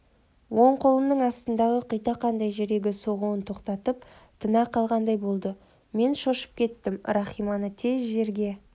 оң қолымның астындағы құйтақандай жүрегі соғуын тоқтатып тына қалғандай болды мен шошып кеттім рахиманы тез жерге